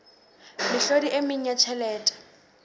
mehlodi e meng ya tjhelete